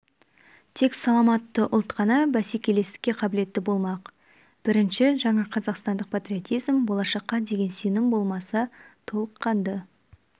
тек саламатты ұлт қана бәсекелестікке қабілетті болмақ бірінші жаңа қазақстандық патриотизм болашаққа деген сенім болмаса толыққанды